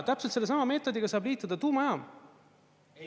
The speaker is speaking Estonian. Täpselt sellesama meetodiga saab liituda tuumajaam.